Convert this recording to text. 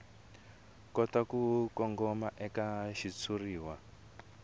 kota ku kongoma eka xitshuriwa